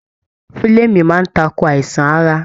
Fulẹmi máa n takò àìsàn ara.